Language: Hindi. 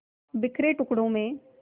बिखरे टुकड़ों में